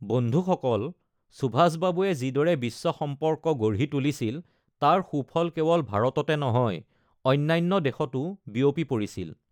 বন্ধুসকল, সুভাষ বাবুয়ে যিদৰে বিশ্ব সম্পৰ্ক গঢ়ি তুলিছিল, তাৰ সুফল কেৱল ভাৰততে নহয়, অন্যান্য দেশতো বিয়পি পৰিছিল।